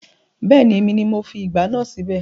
Bẹ́ẹ̀ni, èmi ni mo fi ìgbá náà síbẹ̀